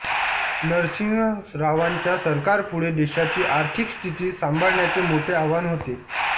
नरसिंह रावांच्या सरकारपुढे देशाची आर्थिक स्थिती सांभाळण्याचे मोठे आव्हान होते